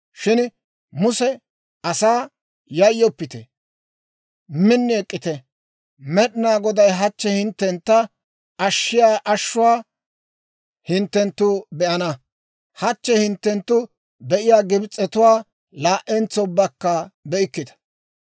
Shin Muse asaa, «Yayyoppite; min ek'k'ite; Med'inaa Goday hachche hinttentta ashshiyaa ashuwaa hinttenttu be'ana. Hachche hinttenttu be'iyaa Gibs'etuwaa laa"entso ubbakka be'ikkita.